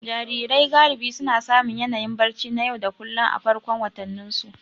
Jarirai galibi suna samun yanayin barci na yau da kullun a farkon watanninsu.